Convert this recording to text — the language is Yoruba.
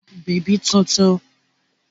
Wà á ra bèbí tuntun!